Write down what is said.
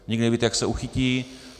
Nikdy nevíte, jak se uchytí.